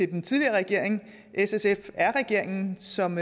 den tidligere regering s sf r regeringen som